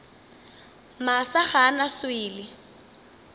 masa ga a na swele